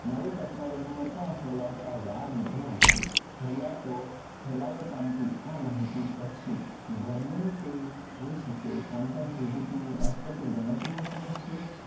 નવી technology ને પણ ફેલાવતાં વાર નથી લાગતી ફેલાતો ફેલાવો પામતી આ માહિતી પછી ગમે તે હોઈ શકે કોણ કોણ કેવી રીતે અટપટી ગણતરીઓ હોઈ છે.